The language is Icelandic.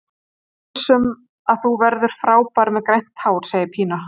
Ég er viss um að þú verður frábær með grænt hár, segir Pína.